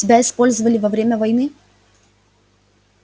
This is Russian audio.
тебя использовали во время войны